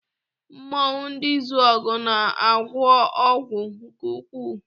Mmọnwụ ndị Izuọgụ na-agwọ ọgwụ nke ukwuu.